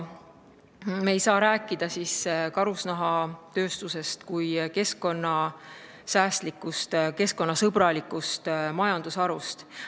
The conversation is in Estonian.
Me ei saa rääkida karusnahatööstusest kui keskkonnasäästlikust ja keskkonnasõbralikust majandusharust.